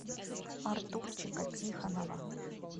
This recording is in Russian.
артурчика тихонова